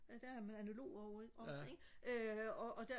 der er med analog ikke også ikke øh og der